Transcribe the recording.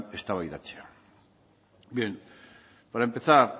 eztabaidatzea bien para empezar